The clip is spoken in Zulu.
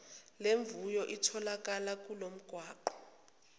lemvuyo itholakala kulomgwaqo